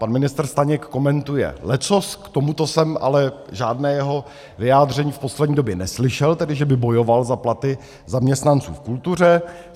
Pan ministr Staněk komentuje leccos, k tomuto jsem ale žádné jeho vyjádření v poslední době neslyšel, tedy že by bojoval za platy zaměstnanců v kultuře.